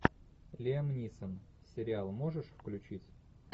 лиам нисон сериал можешь включить